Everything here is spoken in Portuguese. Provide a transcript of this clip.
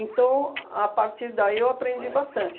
a partir daí eu aprendi bastante.